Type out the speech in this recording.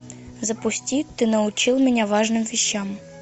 запусти ты научил меня важным вещам